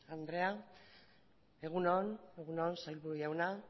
andrea egun on sailburu jauna